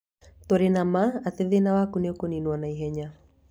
Tũrĩ na ma atĩ thĩna waku nĩ ũkũninwo na ihenya.